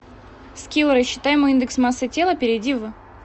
скилл рассчитай мой индекс массы тела перейди в